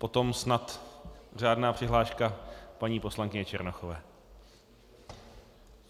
Potom snad řádná přihláška paní poslankyně Černochové.